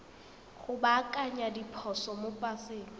go baakanya diphoso mo paseng